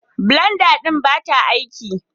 Blenda ɗin ba ta aiki